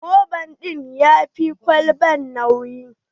Roba ɗin ya fi ƙwalban nauyi.